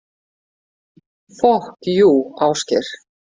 Fokk jú, Ásgeir.